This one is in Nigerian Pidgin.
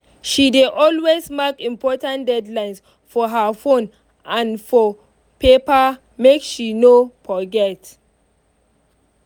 she dey always mark important deadlines for her phone and for paper make she no forget.